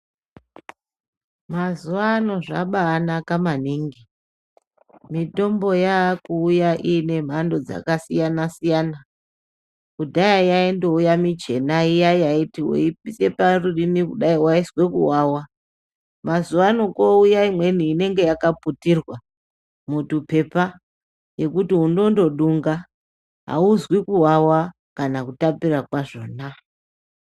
Mazuwa ano zvabanaka maningi mitombo yakuya ine mhando dzaka siyana siyana. Kudhaya yaindouya michena iya yaiti webvisa parurimi kudai wainzwa kuwawa. Mazuwaano kwouya imweni inenge yakaputirwa mutwupepa yekuti unondodunga aunzwi kuwawa kana kutapira kwazvona .